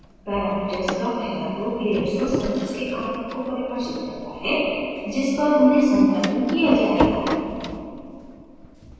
parameters का पहला group layers और surface के आयाम को परिभाषित करता है जिस पर उन्हें संलग्न किया जायेगा